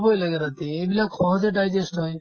ল'বই লাগে ৰাতি এইবিলাক সহজে digest হয়